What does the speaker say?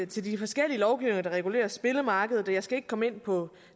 til de forskellige lovgivninger der regulerer spillemarkedet og jeg skal ikke komme ind på